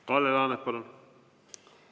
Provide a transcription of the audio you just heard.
Kalle Laanet, palun!